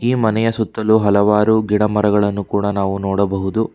ಈ ಮನೆಯ ಸುತ್ತಲು ಹಲವಾರು ಗಿಡ ಮರಗಳನ್ನು ಕೂಡ ನಾವು ನೋಡಬಹುದು.